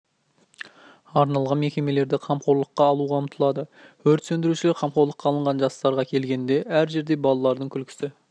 арналған мекемелерді қамқорлыққа алуға ұмтылады өрт сөндірушілер қамқорлыққа алынған жастарға келгенде әр жерде балалардың күлкісі